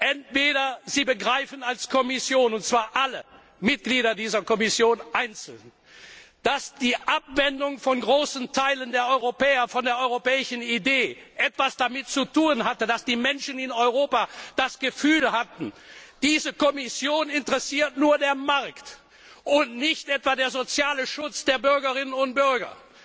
Entweder Sie begreifen als Kommission, und zwar alle Mitglieder dieser Kommission einzeln, dass die Abwendung von großen Teilen der Europäer von der europäischen Idee etwas damit zu tun hatte, dass die Menschen in Europa das Gefühl hatten, diese Kommission interessiert nur der Markt und nicht etwa der soziale Schutz der Bürgerinnen und Bürger.